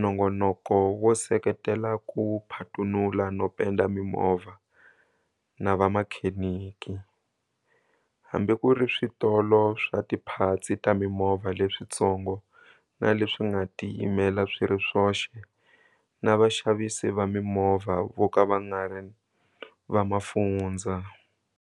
Nongonoko wo seketela ku phatunula no penda mimovha na vamakhenikhi, hambi ku ri switolo swa tiphatsi ta mimovha leswitsongo na leswi nga tiyimela swi ri swoxe na vaxavisi va mimovha vo ka va nga ri va mafundzha.